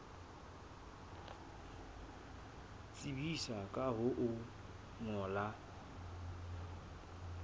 tsebisa ka ho o ngolla